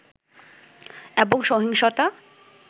এবং সহিংসতা